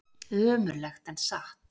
Ömurlegt en satt.